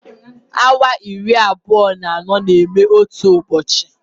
Awa iri abụọ na anọ na-eme otu ụbọchị